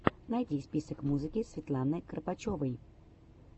найди список музыки светланы кропочевой